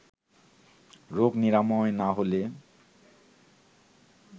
রোগ নিরাময় না হলে